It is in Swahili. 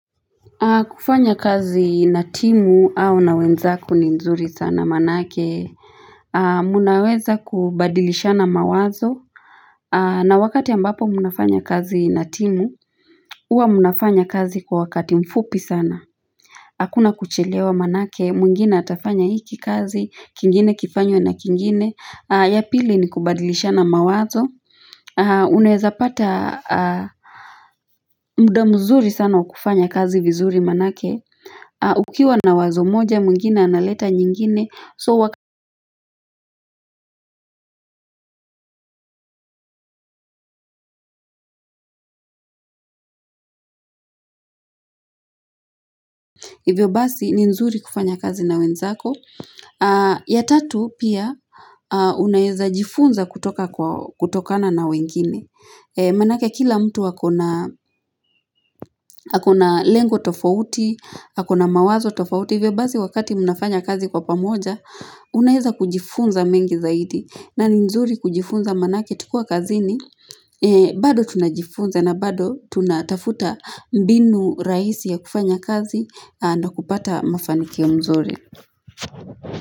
Kufanya kazi natimu au na wenzako ni nzuri sana manake Munaweza kubadilishana mawazo na wakati ambapo munafanya kazi natimu Uwa munafanya kazi kwa wakati mfupi sana akuna kuchelewa manake, mwingine atafanya hiki kazi kingine kifanywe na kingine Yapili ni kubadilishana mawazo Unaweza pata mda mzuri sana wa kufanya kazi vizuri manake ukiwa na wazo moja mungina na leta nyingine so wakati hivyo basi ni nzuri kufanya kazi na wenzako ya tatu pia unaeza jifunza kutoka kwa kutokana na wengine manake kila mtu akona lengo tofauti akona mawazo tofauti hivyo basi wakati mnafanya kazi kwa pamoja unaeza kujifunza mengi zaidi na ni nzuri kujifunza manake tukiwa kazini bado tunajifunza na bado tunatafuta mbinu raisi ya kufanya kazi na kupata mafanikio ya mzuri.